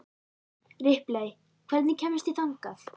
Ripley, hvernig kemst ég þangað?